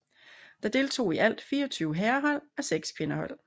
Der deltog i alt 24 herrehold og 6 kvindehold